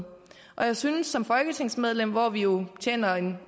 og jeg synes som folketingsmedlem hvor vi jo tjener